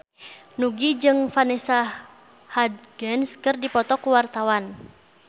Nugie jeung Vanessa Hudgens keur dipoto ku wartawan